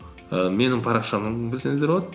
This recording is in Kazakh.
і менің парақшамнан білсеңіздер болады